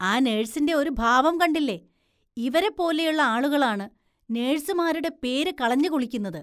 ആ നേഴ്‌സിന്റെ ഒരു ഭാവം കണ്ടില്ലേ, ഇവരെ പോലെയുള്ള ആളുകളാണ് നേഴ്‌സുമാരുടെ പേര് കളഞ്ഞുകുളിക്കുന്നത്.